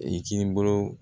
I k'i bolo